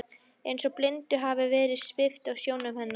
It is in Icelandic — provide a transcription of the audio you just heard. Eins og blindu hafi verið svipt af sjónum hennar.